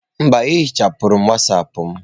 Mba, ehichapụrụ Wọsọpu m.